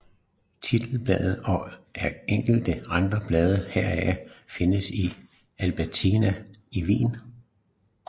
Titelbladet og enkelte andre blade herfra findes i Albertina i Wien